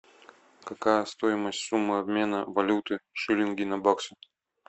какая стоимость суммы обмена валюты шиллинги на баксы